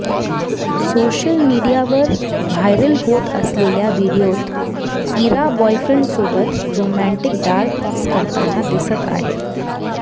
social मीडियावर viral होत असलेल्या व्हिडिओत इरा बॉयफ्रेंडसोबत रोमॅन्टिक डान्स करताना दिसत आहे